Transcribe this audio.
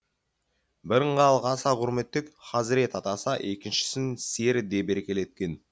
бірін халық аса құрметтеп хазірет атаса екіншісін сері деп еркелеткен